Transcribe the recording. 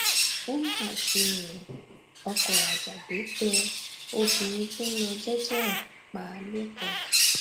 ó mà ṣe o ọkọ ajàgbẹ tẹ obìnrin tó ń lọ jẹẹjẹ ẹ pa lẹkọọ